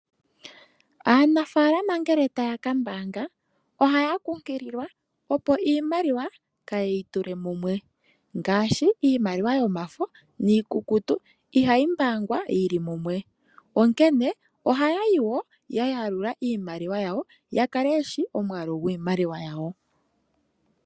Aanafaalama ngele taya ka mbaanga ohaya kunkililwa opo iimaliwa kaaye yi tule mumwe. Ngaashi iimaliwa yomafo niikukutu ihayi mbaangwa yi li mumwe. Onkene ohaya yi wo ya yalula iimaliwa yawo ya kale ye shi omwaalu gwiimaliwa yawo.